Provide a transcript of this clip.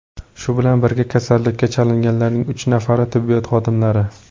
Shu bilan birga, kasallikka chalinganlarning uch nafari tibbiyot xodimlari.